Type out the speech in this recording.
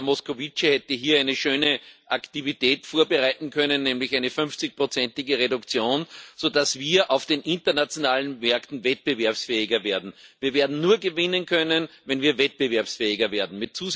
Herr Moscovici hätte hier eine schöne Aktivität vorbereiten können, nämlich eine 50 ige Reduktion, sodass wir auf den internationalen Märkten wettbewerbsfähiger werden. Wir werden nur gewinnen können, wenn wir wettbewerbsfähiger werden.